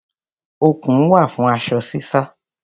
Okùn wà fún aṣọ sísá.